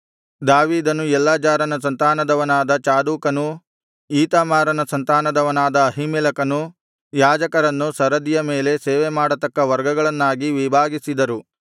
ದಾವೀದನು ಎಲ್ಲಾಜಾರನ ಸಂತಾನದವನಾದ ಚಾದೋಕನೂ ಈತಾಮಾರನ ಸಂತಾನದವನಾದ ಅಹೀಮೆಲೆಕನು ಯಾಜಕರನ್ನು ಸರದಿಯ ಮೇಲೆ ಸೇವೆಮಾಡತಕ್ಕ ವರ್ಗಗಳನ್ನಾಗಿ ವಿಭಾಗಿಸಿದರು